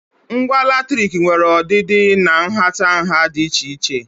Ngwa latrik nwere ọdịdị na nhatanha dị iche iche.